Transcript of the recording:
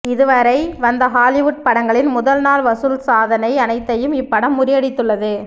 இதுவரை வந்த ஹாலிவுட் படங்களின் முதல் நாள் வசூல் சாதனை அனைத்தையும் இப்படம் முறியடித்துள்ளது